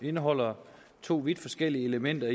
indeholder to vidt forskellige elementer